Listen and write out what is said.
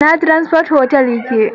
Ina Transcorp otal ya ke?